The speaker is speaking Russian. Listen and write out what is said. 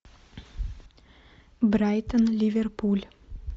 брайтон ливерпуль